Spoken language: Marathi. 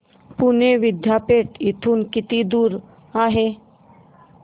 पुणे विद्यापीठ इथून किती दूर आहे